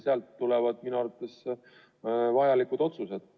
Sealt tulevad minu arvates õigustatud otsused.